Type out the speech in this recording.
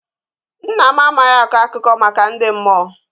Nna m amaghị akọ akụkọ maka ndị mmụọ.